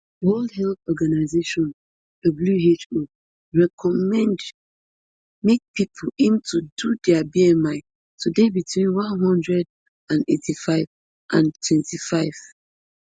world health organization who recommend make pipo aim to do dia b-m-i to dey between one hundred and eighty-five and twenty-five